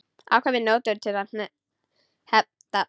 Afkvæmi notuð til hefnda.